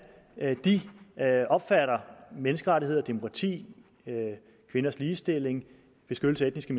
de opfatter menneskerettigheder demokrati kvinders ligestilling og beskyttelse af etniske